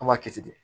An b'a kɛ ten de